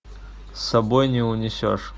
с собой не унесешь